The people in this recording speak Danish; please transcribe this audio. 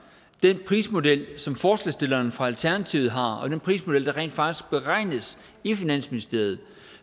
den prismodel som forslagsstillerne fra alternativet har og den prismodel der rent faktisk beregnes i finansministeriet